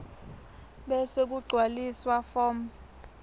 bese kugcwaliswa form